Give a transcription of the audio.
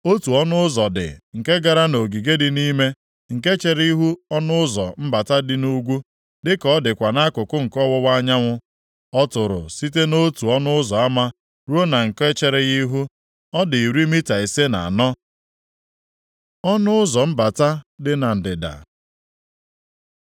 Otu ọnụ ụzọ dị nke gara nʼogige dị nʼime, nke chere ihu ọnụ ụzọ mbata dị nʼugwu, dịka ọ dịkwa nʼakụkụ nke ọwụwa anyanwụ. Ọ tụrụ site nʼotu ọnụ ụzọ ama ruo na nke chere ya ihu, ọ dị iri mita ise na anọ. Ọnụ ụzọ mbata dị na ndịda